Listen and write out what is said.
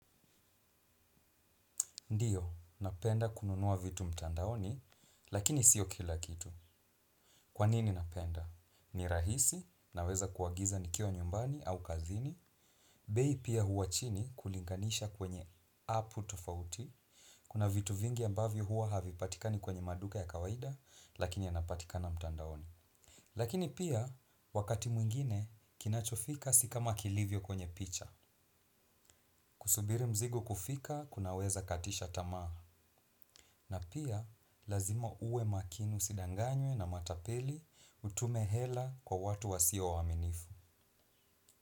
Ndiyo, napenda kununua vitu mtandaoni, lakini sio kila kitu. Kwanini napenda? Ni rahisi, naweza kuagiza nikiwa nyumbani au kazini. Bei pia hua chini kulinganisha kwenye apu tofauti. Kuna vitu vingi ambavyo huwa havi patikani kwenye maduka ya kawaida, lakini yanapatika na mtandaoni. Lakini pia, wakati mwingine, kinachofika si kama kilivyo kwenye picha. Kusubiri mzigo kufika, kunaweza katisha tamaa. Na pia, lazima uwe makini usidanganywe na matapeli utume hela kwa watu wa siwa waaminifu.